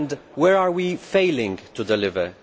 Where are we failing to deliver?